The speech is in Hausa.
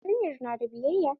Yarinyar na da biyayya?